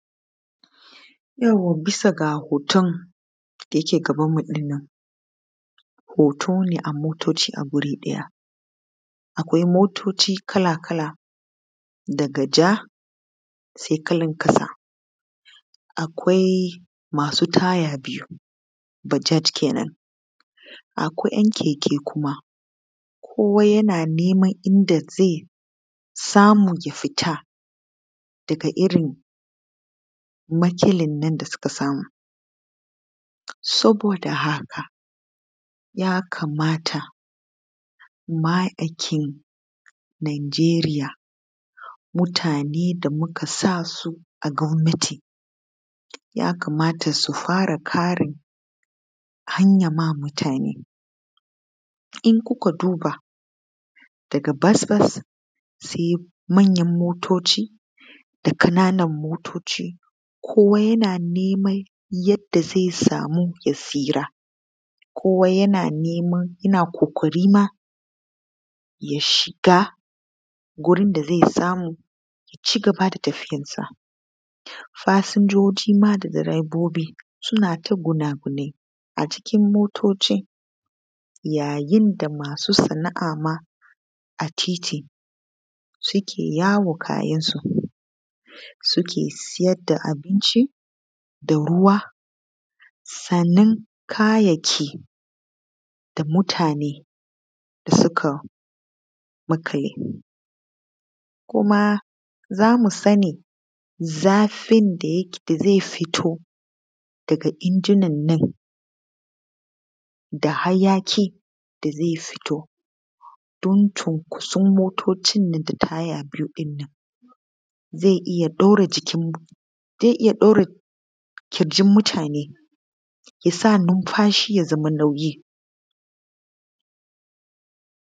Yauwa bisa ga hoton da yake gabanmu ɗin nan. Hoto ne a motoci a guri ɗaya. Akwai motoci kala-kala daga ja sainkalar ƙasa. Akwai masu taya biyu, bajaj kenan, akwai 'yan keke kuma kowa yana neman inda zai iya samu ya fita daga irin matsalar da suka samu. Saboda haka ya kamata ma'aikatan Nijeriya mutane da muka sa su a gwamnati ya kamata su fara kare hanyar ma mutane idan kuka duba daga bus bus sai manyan motoci da ƙananan motoci kowa yana neman yadda zai samu ya tsira kowa yana kokarin ya shiga wurin da zai samu ya ci gaba da tafiyarsa. Fasinjoji ma da direbobi suna ta gunagunai a cikin motoci yayin da masu sana'a ma a titi suke sayar da kayansu kamar abunci da ruwa. Sannan kayan da mutane suka maƙale kuma za mu sani irin zafin da zai fito daga injinan nan da hayaƙi da zai fito don cinkoson motaci da kuma taya biyu nan, zai iya daure ƙirjin mutane ya sa nunfashi ya yi nauyi.